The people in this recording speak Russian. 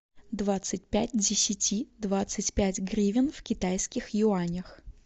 двадцать пять десяти двадцать пять гривен в китайских юанях